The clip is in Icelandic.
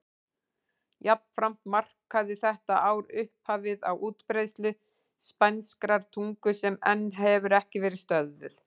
Jafnframt markaði þetta ár upphafið á útbreiðslu spænskrar tungu sem enn hefur ekki verið stöðvuð.